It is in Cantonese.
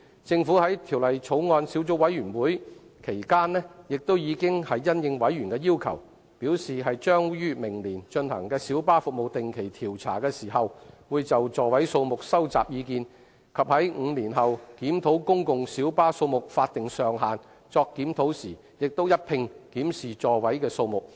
政府在法案委員會期間亦已因應委員的要求，表示於明年進行小巴服務定期調查時，會就座位數目收集意見，以及在5年後檢討公共小巴數目法定上限時，一併檢視座位數目。